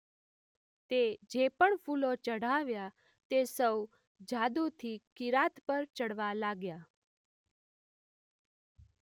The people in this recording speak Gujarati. તે જે પણ ફૂલો ચઢાવ્યા તે સૌ જાદુથી કિરાત પર ચડવા લાગ્યાં.